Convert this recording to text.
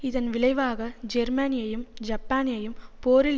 இதன் விளைவாக ஜெர்மானியையும் ஜப்பானையும் போரில்